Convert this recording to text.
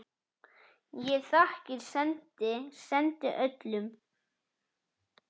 Ég þakkir sendi, sendi öllum.